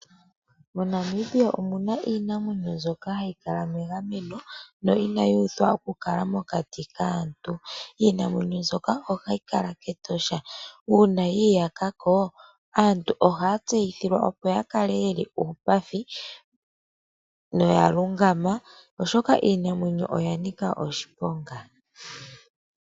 Mo Namibia omuna iinamwenyo mbyoka hayi kala megameno noyi inayi uthwa oku kala mokati kaantu .Iinamwenyo mboka ohayi kala kEtosha. Una yiyakako aantu ohaya tseyithilwa opo yakale yeli upafi noyalungama oshoka iinamwenyo oya nika oshiponga.